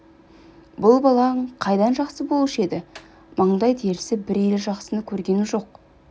бұл балаң қайдан жақсы болушы еді маңдай терісі бір елі жақсыны көргенім жоқ